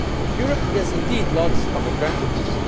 values. Europe has indeed lots of advantages.